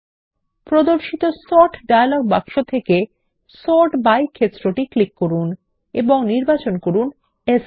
প্রদর্শিত ডায়লগ বাক্স থেকে সর্ট -বাই ক্ষেত্রটি ক্লিক করুন এবং নির্বাচন করুন সান